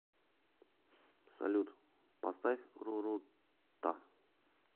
салют поставь рурута